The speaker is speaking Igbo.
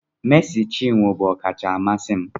Mercy chinwo bụ ọkacha amasị m